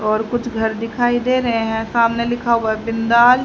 और कुछ घर दिखाई दे रहे हैं सामने लिखा हुआ बिंदाल--